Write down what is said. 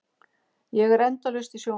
Ég er endalaust í sjónvarpinu.